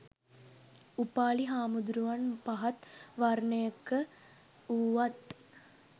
උපාලි හාමුදුරුවන් පහත් වර්ණයක වූවත්